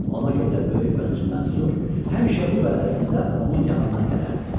Ona görə də böyük vəzir Mənsur həmişə bu vəədəsində onun yanından gələrdi.